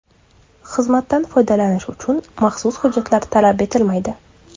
Xizmatdan foydalanish uchun maxsus hujjatlar talab etilmaydi.